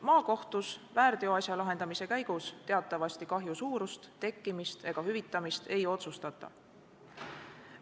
Maakohtus väärteoasja lahendamise käigus teatavasti kahju suurust, tekkimist ega hüvitamist ei otsustata.